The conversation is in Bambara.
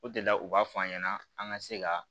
O de la u b'a fɔ an ɲɛna an ka se ka